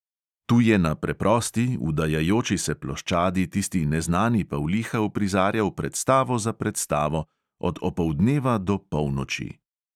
Tu je na preprosti, vdajajoči se ploščadi tisti neznani pavliha uprizarjal predstavo za predstavo, od opoldneva do polnoči.